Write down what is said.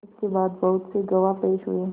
इसके बाद बहुत से गवाह पेश हुए